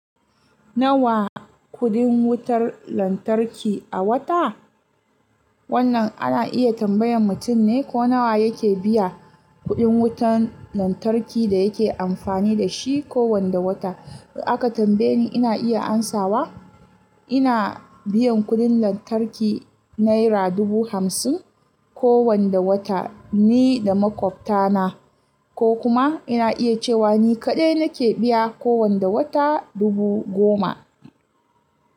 Nawa kuɗin wutar lantarki a wata? Wannan ana iya tambayan mutum ne ko nawa yake biya kuɗin wutar lantarki da yake amfani da shi kowane wata. Da aka tambaye ni ina iya amsawa ina biyan kuɗin lantarki Naira dubu hamsin kowane wata ni da maƙwabta na ko kuma ina iya cewa ni kaɗai nake biya kowane wata dubu goma.